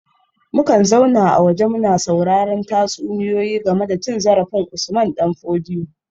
Mukan zauna a waje muna sauraren tatsuniyoyi game da cin zarafin Usman dan Fodio